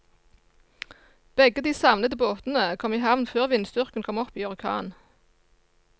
Begge de savnede båtene kom i havn før vindstyrken kom opp i orkan.